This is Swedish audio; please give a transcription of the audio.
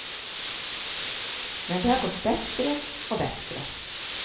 Men det har gått bättre och bättre.